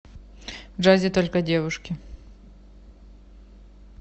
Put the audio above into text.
в джазе только девушки